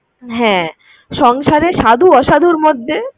হ্যাঁ সংসারে সাধু অসাধুর মধ্যে